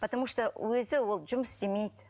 потому что өзі ол жұмыс істемейді